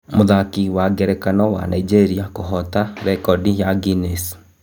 Mũthaki wa ngerekano wa Naijĩ ria kuhota rekodi ya Guiness